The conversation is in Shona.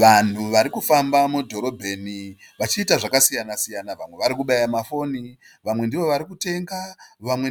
Vanhu varikufamba mudhorobheni vachiita zvakakasiyana siyana. Vamwe varikubaya mafoni vamwe ndivo varikutenga vamwe